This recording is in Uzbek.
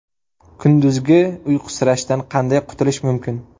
Kunduzgi uyqusirashdan qanday qutulish mumkin?.